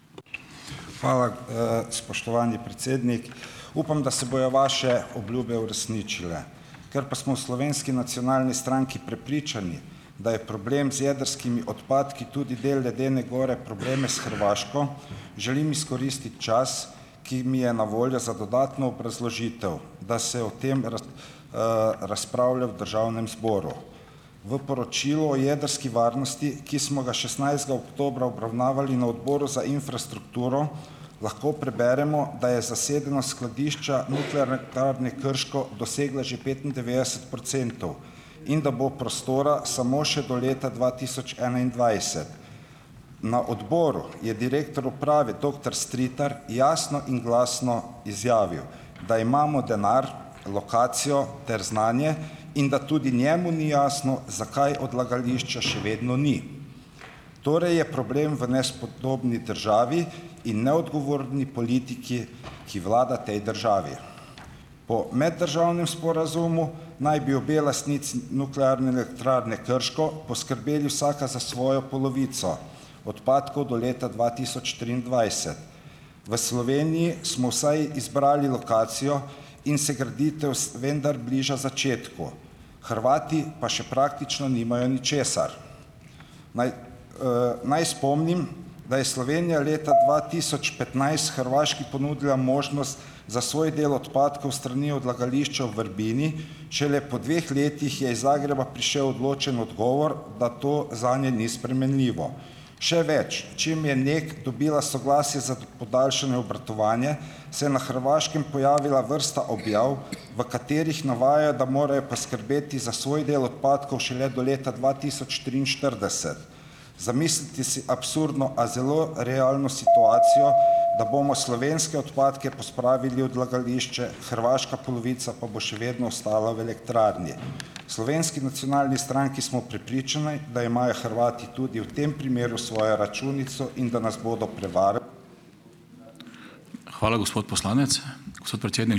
Hvala. Spoštovani predsednik! Upam, da se bojo vaše obljube uresničile, ker pa smo v Slovenski nacionalni stranki prepričani, da je problem z jedrskimi odpadki tudi del ledene gor probleme s Hrvaško, želim izkoristiti čas, ki mi je na voljo za dodatno obrazložitev, da se o tem razpravlja v Državnem zboru. V poročilu o jedrski varnosti, ki smo ga šestnajstega oktobra obravnavali na Odboru za infrastrukturo, lahko preberemo, da je zasedenost skladišča Nuklearne elektrarne Krško dosegla že petindevetdeset procentov in da bo prostora samo še do leta dva tisoč enaindvajset. Na odboru je direktor uprave doktor Stritar jasno in glasno izjavil, da imamo denar, lokacijo ter znanje in da tudi njemu ni jasno, zakaj odlagališča še vedno ni, torej je problem v nespodobni državi in neodgovorni politiki, ki vlada tej državi. Po meddržavnem sporazumu naj bi obe lastnici Nuklearne elektrarne Krško poskrbeli vsaka za svojo polovico odpadkov do leta dva tisoč triindvajset. V Sloveniji smo vsaj izbrali lokacijo in se graditev vendar bliža začetku. Hrvati pa še praktično nimajo ničesar. Naj naj spomnim, da je Slovenija leta dva tisoč petnajst Hrvaški ponudila možnost za svoj del odpadkov s strani odlagališča v Vrbini. Šele po dveh letih je iz Zagreba prišel odločen odgovor, da to zanje ni spremenljivo. Še več. Čim je Nek dobila soglasje za podaljšanje obratovanje, se je na Hrvaškem pojavila vrsta objav, v katerih navaja, da morajo poskrbeti za svoj del odpadkov šele do leta dva tisoč triinštirideset. Zamislite si absurdno, a zelo realno situacijo, da bomo slovenske odpadke pospravili odlagališče, hrvaška polovica pa bo še vedno ostala v elektrarni. Slovenski nacionalni stranki smo prepričani, da imajo Hrvati tudi v tem primeru svojo računico in da nas bodo prevarali.